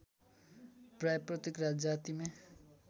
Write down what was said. प्राय प्रत्येक जातिमा